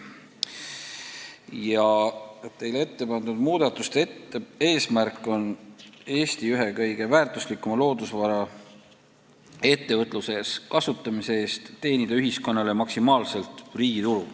Ja teile ette pandud muudatuste eesmärk on Eesti ühe kõige väärtuslikuma loodusvara ettevõtluses kasutamise eest teenida ühiskonnale maksimaalselt riigitulu.